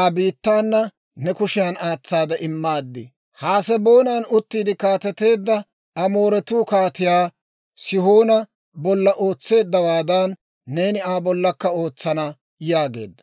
Aa biittaana ne kushiyan aatsaade immaad. Haseboonan uttiide kaateteedda Amooretuu Kaatiyaa Sihoona bolla ootseeddawaadan, neeni Aa bollakka ootsana› yaageedda.